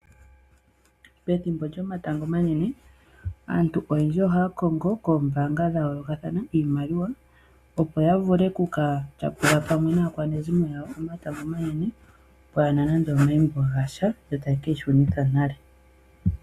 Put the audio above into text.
Pethimbo lyomatango omanene aantu oyendji ohaya kongo koombanga dha yoolokathana iimaliwa, opo ya vule oku ka tyapula pamwe naakwanezimo lyawo omatango omanene pwaa na nando omayimbo gasha , yo taye keyi shunitha nale.